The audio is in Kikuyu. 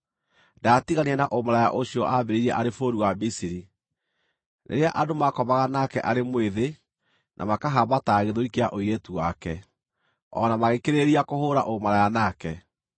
Ndaatiganire na ũmaraya ũcio aambĩrĩirie arĩ bũrũri wa Misiri, rĩrĩa andũ maakomaga nake arĩ mwĩthĩ na makahambataga gĩthũri kĩa ũirĩtu wake, o na magĩkĩrĩrĩria kũhũũra ũmaraya nake.